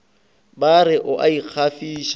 ba re o a ikgafiša